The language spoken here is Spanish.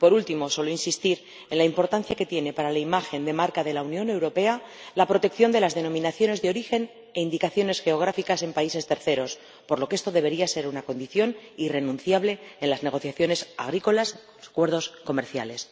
Por último, solo deseo insistir en la importancia que tiene para la imagen de marca de la Unión Europea la protección de las denominaciones de origen y de las indicaciones geográficas en países terceros, por lo que esto debería ser una condición irrenunciable en las negociaciones agrícolas de los acuerdos comerciales.